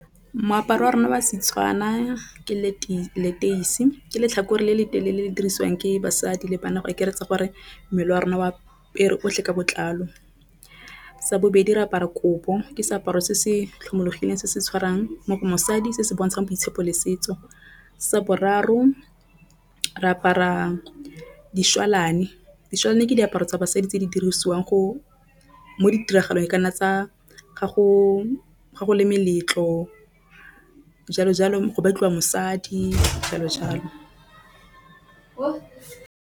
Moaparo wa rona wa Setswana ke leteisi ke letlhakore le le telele le dirisiwang ke basadi le bana go akaretsa gore mmele wa rona o apere otlhe ka botlalo. Sa bobedi, re apara ke seaparo se se tlhomologileng se se tshwarang mosadi se se bontsha boitshepo le setso. Sa boraro, re apara dišwalane. Ke diaparo tsa basadi tse di dirisiwang go mo ditiragalong kana tsa ga go le meletlo jalo jalo go batliwa mosadi jalo jalo.